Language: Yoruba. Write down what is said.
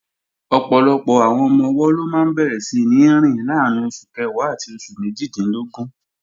Ọ̀pọ̀lọpọ̀ àwọn ọmọ-ọwọ́ ló máa bẹ̀rẹ̀ síní rìn láàrín oṣù kẹwàá àti oṣù méjìdínlógún